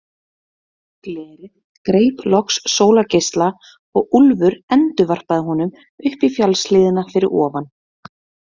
Glerið greip loks sólargeisla og Úlfur endurvarpaði honum upp í fjallshlíðina fyrir ofan.